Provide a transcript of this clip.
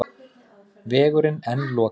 Vegurinn enn lokaður